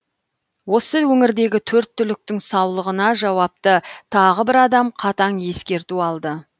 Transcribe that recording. осы өңірдегі төрт түліктің саулығына жауапты тағы бір адам қатаң ескерту алды